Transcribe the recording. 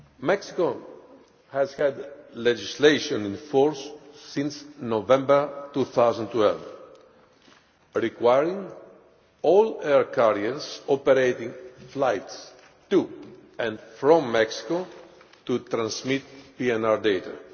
Mexico has had legislation in force since November 2012 requiring all air carriers operating flights to and from Mexico to transmit PNR data.